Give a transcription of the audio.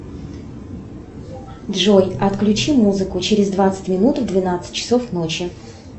джой отключи музыку через двадцать минут в двенадцать часов ночи